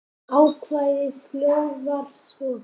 Ákvæðið hljóðar svo